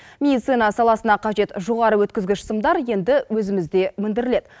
медицина саласына қажет жоғары өткізгіш сымдар енді өзімізде өндіріледі